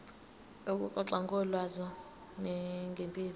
ukuxoxa ngolwazi ngempilo